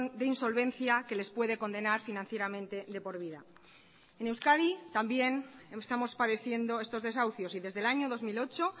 de insolvencia que les puede condenar financieramente de por vida en euskadi también estamos padeciendo estos desahucios y desde el año dos mil ocho